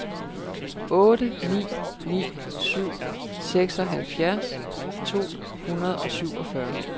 otte ni ni syv seksoghalvfjerds to hundrede og syvogfyrre